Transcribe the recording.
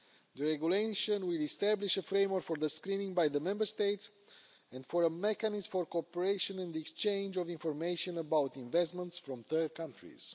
The regulation will establish a framework for screening by the Member States and for a mechanism for cooperation in the exchange of information about investments from third countries.